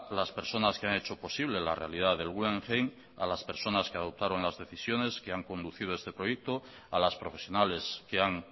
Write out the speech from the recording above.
las personas que han hecho posible la realidad del guggenheim a las personas que adoptaron las decisiones que han conducido este proyecto a las profesionales que han